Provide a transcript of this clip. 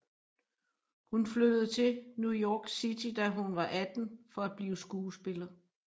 Hun flyttede til New York City da hun var 18 for at blive skuespiller